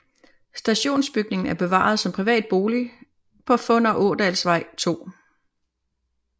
Stationsbygningen er bevaret som privat bolig på Funder Ådalsvej 2